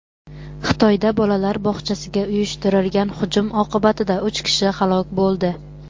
Xitoyda bolalar bog‘chasiga uyushtirilgan hujum oqibatida uch kishi halok bo‘ldi.